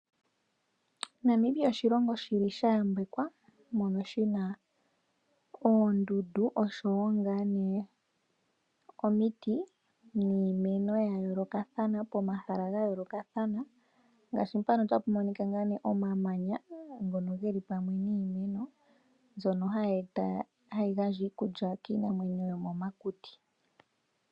Namibia oshilongo sha yambekwa moka shi na oondundu noshowo omiti niimeno ya yoolokathana pomahala ga yoolokathana. Opu na mpoka hapu monika omamanya ngono ge li pamwe niimeno mbyono hayi gandja iikulya kiinamwenyo yomomakuti.